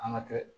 An ka kɛ